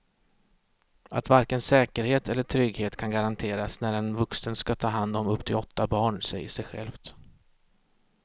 Att varken säkerhet eller trygghet kan garanteras när en vuxen ska ta hand om upp till åtta barn säger sig självt.